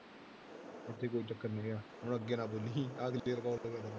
ਉੱਥੇ ਕੋਈ ਚੱਕਰ ਨੀ ਆ ਹੁਣ ਅੱਗੇ ਨਾ ਬੋਲੀਂ